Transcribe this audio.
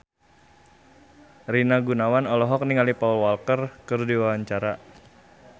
Rina Gunawan olohok ningali Paul Walker keur diwawancara